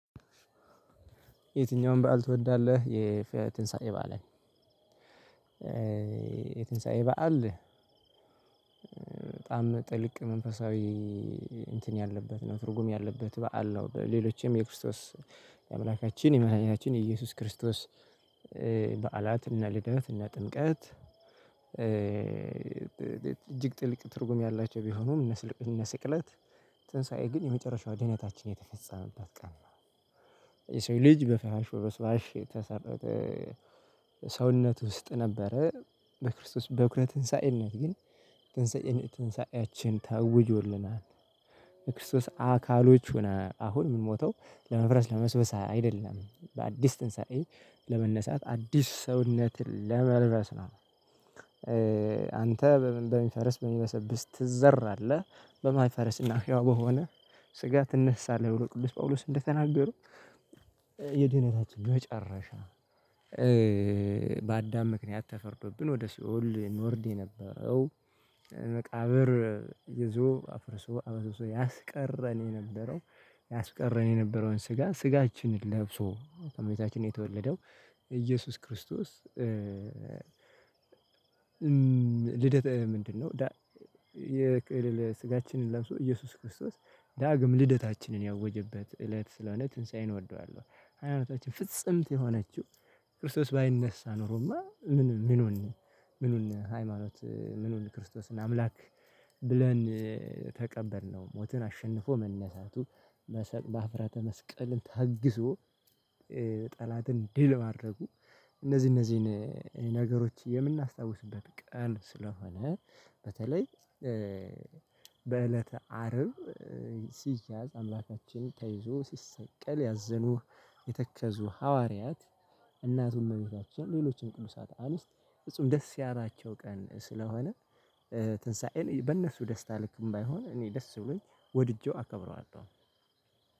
የትኛውን በዓል ትወዳለህ? የትንሳኤ በዓልን የትንሳኤ በዓል በጣም ጥልቅ መንፈሳዊ እንትን ያለበት ነው ትርጉም ያለበት በዓል ነው። በሌሎችም የክርስቶስ የአምላካችን የመድኃኒታችን የኢየሱስ ክርስቶስ በዓላትና ልደትና ጥምቀት እጅግ ጥልቅ ትርጉም ያላቸው ቢሆኑም እነ ስልክ እነ ስቅለት ትንሳኤ ግን የመጨረሻው ድህነታችን የተፈጸመበት ቀን ነው። የሰው ልጅ በፋሾ በስባሽ የተሰራ ሰውነት ውስጥ ነበረ በክርስቶስ በኩረ ትንሳኤነት ግን ትንሳኤነት ትንሳኤያችን ታውጆልናል። በክርስቶስ አካሎች ሆነናል አሁን የምንሞተው ለመፍረስ ለመስበስ አይደለም በአዲስ ትንሳኤ ለመነሳት አዲስ ሰውነትን ለመልበስ ነው። አንተ በምን በሚፈርስ በሚመሰብስ ትዘራለህ በማይፈረስ እና ህያው በሆነ ስጋ ትነሳለህ ብሎ ቅዱስ ጳውሎስ እንደተናገረው። የድህነታችን መጨረሻ በአዳም ምክንያት ተፈርዶብን ወደ ሲኦል እንወርድ የነበረው መቃብር ይዞ አፍርሶ አፍርሶ ያስቀረን የነበረው ያስቀረን የነበረውን ስጋ ስጋችንን ለብሶ ከእመቤታችን የተወለደው ኢየሱስ ክርስቶስ። ልደት ምንድነው? የስጋችንን ለብሶ ኢየሱስ ክርስቶስ ዳግም ልደታችንን ያወጀበት እለት ስለሆነ ትንሳኤን እወደዋለሁ። ሃይማኖታችን ፍጽምት የሆነችው ክርስቶስ ባይነሳ ኖሮማ ምኑን ምኑን ሃይማኖት ምኑን ክርስቶስን አምላክ ብለን ተቀበልነው ሞትን አሸንፎ መነሳቱ መሰቅ በአፍረተ መስቀል ታግሶ ጠላትን ድል ማድረጉ። እነዚህ እነዚህን ነገሮች የምናስታውስበት ቀን ስለሆነ። በተለይ በእለተ አርብ ሲያዝ አምላካችን ተይዞ ሲሰቀል ያዘኑ የተከዙ ሐዋርያት እናቱ እመቤታችን ሌሎችን ቅዱሳት አንስት ፍጹም ደስ ያላቸው ቀን ስለሆነ። ትንሳኤን በእነሱ ደስታ ልክም ባይሆን እኔ ደስ ብሎኝ ወድጄው አከብረዋለሁ።